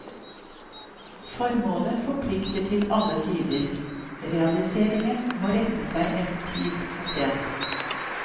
Formålet forplikter til alle tider, realiseringen må rette seg etter tid og sted.